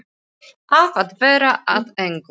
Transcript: Af að verða að engu.